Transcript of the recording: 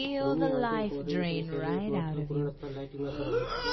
રૂમની આંતરિક ઓરિએન્ટલ શૈલી એક મહત્વપૂર્ણ સ્થળ લાઇટિંગ અસરો હોય છે